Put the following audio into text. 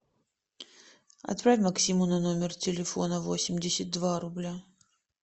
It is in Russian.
отправь максиму на номер телефона восемьдесят два рубля